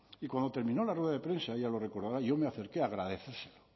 y cuando terminó la rueda de prensa ella lo recordará yo me acerqué a agradecérselo